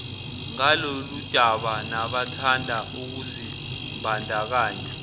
ngaloludaba nabathanda ukuzimbandakanya